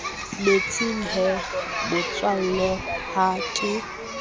metsing he motswalle ha ke